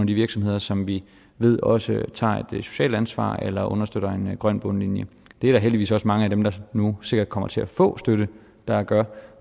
de virksomheder som vi ved også tager et socialt ansvar eller understøtter en grøn bundlinje det er der heldigvis også mange af dem der nu sikkert kommer til at få støtte der gør